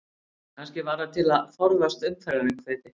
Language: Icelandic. Kannski var það til að forðast umferðaröngþveiti?